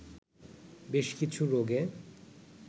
বেশ কিছু রোগে